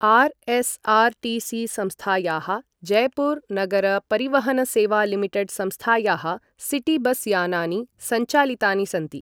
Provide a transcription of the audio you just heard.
RSRTC संस्थायाः जयपुर नगर परिवहन सेवा लिमिटेड् संस्थायाः सिटी बस यानानि संचालितानि सन्ति ।